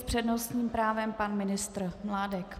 S přednostním právem pan ministr Mládek.